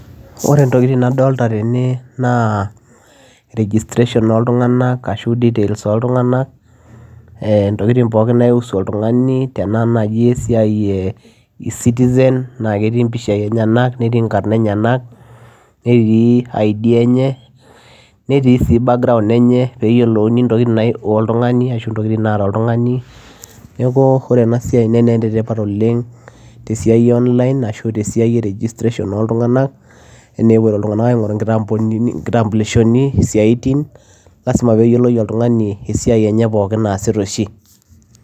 Ore ntokitin nadolta tene naa registration oltung'anak ashu details oltung'anak eh ntokitin pooki naiusu oltung'ani tenaa naji esiai e e citizen naa ketii impishai enyenak netii inkarn enyenak netii id enye netii sii background enye peyiolouni intokiting naio oltung'ani ashu intokitin naata oltung'ani neku ore ena siai netaa enetipat oleng tesiai e online ashu tesiai e registration oltung'anak enaa epuoito iltung'anak aing'oru inkitambunini inkitambulishoni isiaitin lasima peyioloi oltung'ani esiai enye pookin naasita oshi.